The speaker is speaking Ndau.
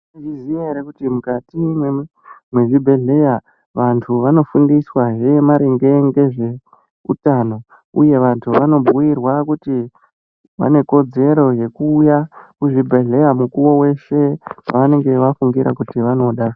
Mwaizviziya ere kuti mukati mwezvibhedhleya vantu vanofundiswazve maringe ngezveutano, uye vantu vanobhuirwa kuti vane kodzero yekuuya kuzvibhedhleya mukuvo veshe pavanenge vafungira kuti vanoda.